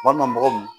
Walima mɔgɔw